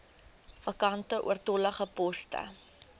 vakante oortollige poste